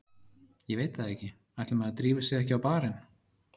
Ég veit það ekki, ætli maður drífi sig ekki á barinn.